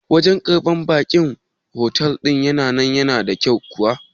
Wajan karɓan ba'in fotel ɗin nan yana da kyau kuwa?